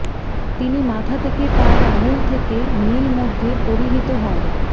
তিনি মাথা থেকে পায়ের আঙ্গুল থেকে নীল মধ্যে পরিহিত হয়